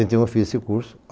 Então eu fiz esse curso.